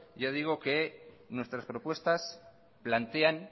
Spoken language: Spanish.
ya digo que nuestras propuestas plantean